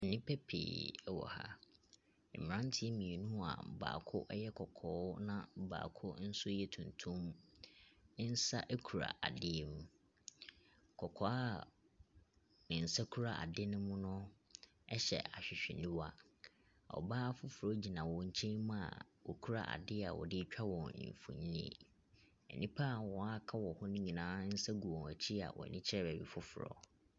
Nnipa pii wɔ ha. Mmeranteɛ mmienu a baako yɛ kɔkɔɔ na baako nso yɛ tuntum nsa kura adeɛ mu. Kɔkɔɔ a ne nsa kura ade no mu no hyɛ ahwehwɛniwa. Ɔbaa foforɔ gyina wɔn nkyɛn mu a ɔkura adeɛ a ɔde retwa wɔn mfonin. Nnipa a wɔaka wɔ hɔ no nyinaa nsa gu wɔn akyi a wɔn ani kyerɛ baabi foforɔ.